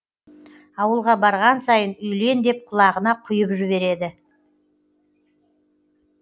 ауылға барған сайын үйлен деп құлағына құйып жібереді